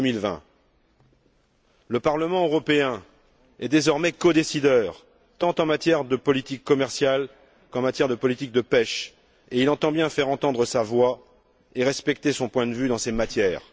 2020. Le Parlement européen est désormais codécideur, tant en matière de politique commerciale qu'en matière de politique de la pêche, et il entend bien faire entendre sa voix et faire respecter son point de vue dans ces matières.